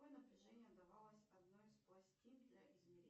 какое напряжение давалось одной из пластин для измерения